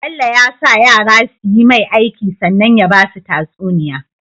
Bello ya sa yara suyi mai aiki sannan ya basu tatsuniya